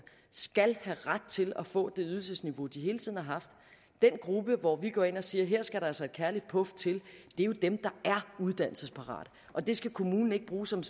skal have ret til at få det ydelsesniveau de hele tiden har haft den gruppe hvorom vi går ind og siger at her skal der altså et kærligt puf til er jo dem der er uddannelsesparate og det skal kommunen ikke bruge som